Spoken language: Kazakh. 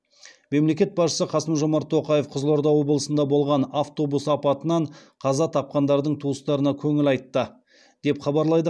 мемлекет басшысы қасым жомарт тоқаев қызылорда облысында болған автобус апатынан қаза тапқандардың туыстарына көңіл айтты деп хабарлайды